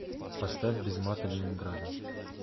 поставь без мата ленинграда